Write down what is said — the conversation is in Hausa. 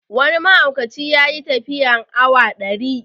Wani mahaukaci ya yi tafiya awa ɗari